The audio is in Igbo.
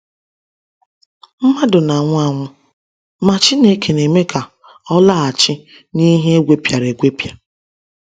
Mmadụ na-anwụ anwụ, ma Chineke na-eme ka ọ “laghachi n’ihe egwepịara egwepịa.”